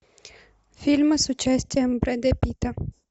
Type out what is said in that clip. фильмы с участием брэда питта